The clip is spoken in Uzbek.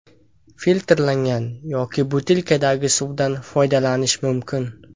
Filtrlangan yoki butilkadagi suvdan foydalanish mumkin.